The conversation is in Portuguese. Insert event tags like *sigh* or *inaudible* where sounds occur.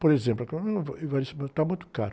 Por exemplo, *unintelligible* mas está muito caro.